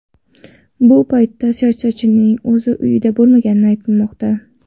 Bu paytda siyosatchining o‘zi uyida bo‘lmagani aytilmoqda.